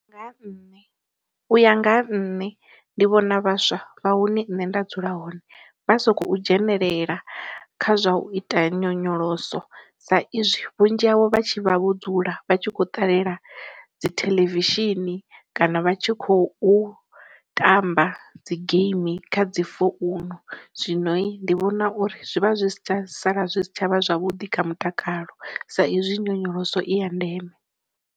Nga ha nṋe, u ya nga ha nṋe ndi vhona vhaswa vha hune nṋe nda dzula hone vha sokou dzhenelela kha zwa u ita nyonyoloso sa izwi vhunzhi havho vha tshi vha vho dzula vha tshi kho ṱalela dzi theḽevishini, kana vha tshi khou tamba dzi geimi kha dzi founu. Zwinoi ndi vhona uri zwi vha zwi si tsha sala zwi si tshavha zwavhuḓi kha mutakalo sa izwi nyonyoloso i ya ndeme